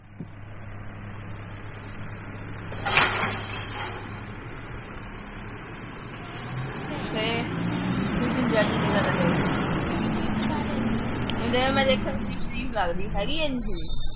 ਫਿਰ। ਕਿਸੇ ਨੂੰ judge ਨੀ ਕਰਨਾ ਚਾਹੀਦਾ। ਹੁਣ ਉਹ ਕੁੜੀ ਦੇਖਣ ਨੂੰ ਸ਼ਰੀਫ ਲੱਗਦੀ, ਹੈਗੀ ਆ ਇੰਨੀ ਸ਼ਰੀਫ।